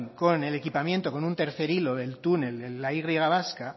con el equipamiento con un tercer hilo del túnel en la y vasca